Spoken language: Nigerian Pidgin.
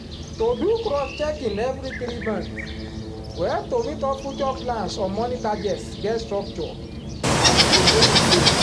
to do cross checking every three month go help to meet up future plans on money targets get structure and e go dey in place